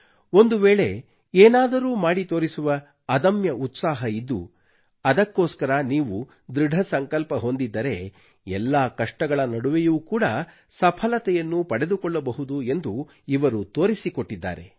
ಒಂದುವೇಳೆ ಏನಾದರೂ ಮಾಡಿತೋರಿಸುವ ಅದಮ್ಯ ಉತ್ಸಾಹ ಇದ್ದು ಅದಕ್ಕೋಸ್ಕರ ನೀವು ದೃಢಸಂಕಲ್ಪ ಹೊಂದಿದ್ದರೆ ಎಲ್ಲಾ ಕಷ್ಟಗಳ ನಡುವೆಯೂ ಕೂಡ ಸಫಲತೆಯನ್ನು ಪಡೆದುಕೊಳ್ಳಬಹುದು ಎಂದು ಇವರು ತೋರಿಸಿಕೊಟ್ಟಿದ್ದಾರೆ